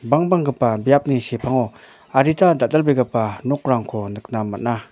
bangbanggipa biapni sepango adita dal·dalbegipa nokrangko nikna man·a.